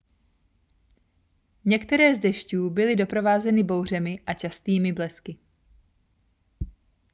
některé z dešťů byly doprovázeny bouřemi a častými blesky